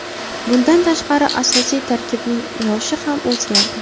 Bundan tashqari asosiy tarkibning yoshi ham o‘zgardi.